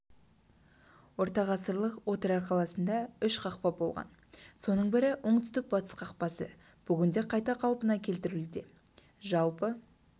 ортағасырлық отырар қаласында үш қақпа болған соның бірі оңтүстік батыс қақпасы бүгінде қайта қалпына келтірілуде жалпы